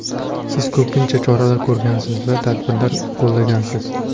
Siz ko‘pgina choralar ko‘rgansiz va tadbirlar qo‘llagansiz.